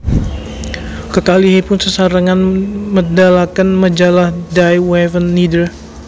Kekalihipun sesarengan medalaken majalah Die Waffen nieder